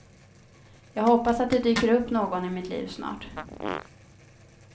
Jag hoppas att det dyker upp någon i mitt liv snart.